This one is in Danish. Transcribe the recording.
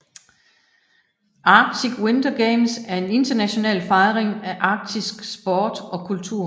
Arctic Winter Games er en international fejring af arktisk sport og kultur